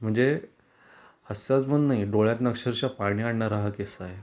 म्हणजे असाच म्हणून नाही डोळ्यातन अक्षरश: पाणि आणनारा हा किस्सा आहे.